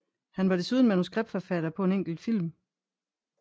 Han var desuden manuskriptforfatter på en enkelt film